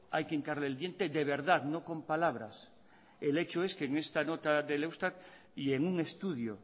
hay que hincarle el diente de verdad no con palabras el hecho es que en esta nota del eustat y en un estudio